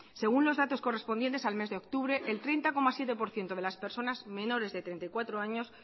según los datos correspondientes al mes de octubre el treinta coma siete por ciento de las personas menores de treinta y cuatro años